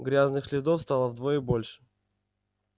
грязных следов стало вдвое больше